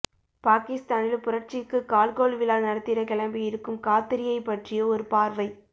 பாகிஸ்தானில் புரட்சிக்கு கால்கோள் விழா நடத்திட கிளம்பியிருக்கும் காத்ரியைப் பற்றிய ஒரு பார்வை